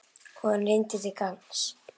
Og hann rýndi til gagns.